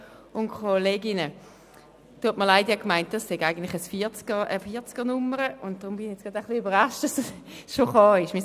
Ich meinte, das Geschäft habe eine 40er-Nummer, und ich war daher überrascht, dass das Geschäft bereits an der Reihe ist.